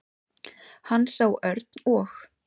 Hann sá Örn og